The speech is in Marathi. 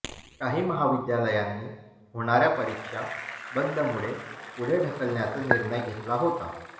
काही महाविद्यालयांनी होणाऱ्या परीक्षा बंदमुळे पुढे ढकलण्याचा निर्णय घेतला होता